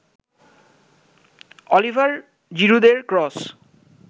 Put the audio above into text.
Oliver জিরুদের cross